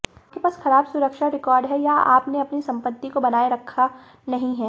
आपके पास खराब सुरक्षा रिकॉर्ड है या आपने अपनी संपत्ति को बनाए रखा नहीं है